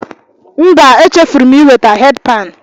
Mba, echefuru m iweta headpan.